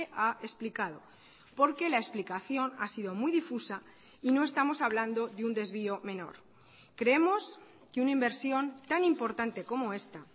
ha explicado porque la explicación ha sido muy difusa y no estamos hablando de un desvío menor creemos que una inversión tan importante como esta